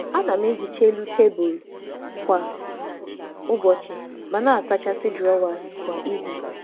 A na m ehichapụ ihe n’elu tebụl kwa ụbọchị ma na-asacha igbe echekwa kwa izu.